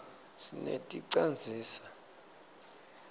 sineti canzisa